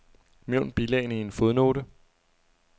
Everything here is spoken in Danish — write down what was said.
Nævn bilagene i en fodnote.